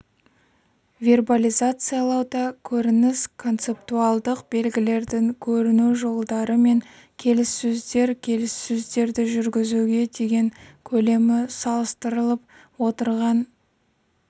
вербализациялауда көрініс концептуалдық белгілердің көріну жолдары мен келіссөздер келіссөздерді жүргізуге деген көлемі салыстырылып отырған